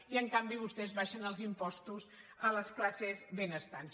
i en canvi vostès abaixen els impostos a les classes benestants